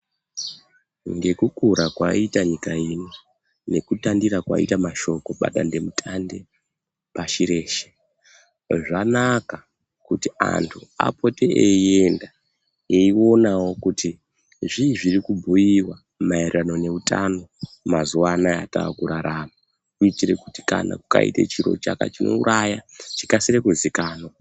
Ngekukura kwaita nyika ino nekutandira kwaita mashoko padandemutande pashi reshe zvanaka kuti antu apote eienda eionawo kuti zvii zviri kubhuiwa maererano neutano mazuwa anaa atakuratama kuitire kuti pakaita chiro chinouraya chikasire kuzikana.